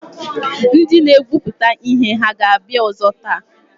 Ndị na-egwupụta ihe hà ga-abịa ọzọ taa?